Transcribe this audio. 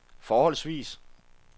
forholdsvis